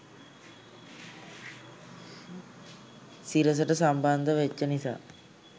සිරසට සම්බන්ධ වෙච්ච නිසා